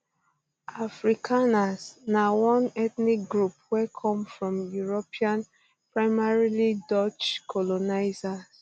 afrikaners na one ethnic group um wey come from european primarily dutch um colonizers